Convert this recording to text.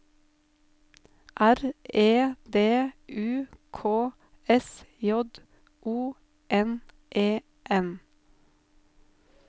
R E D U K S J O N E N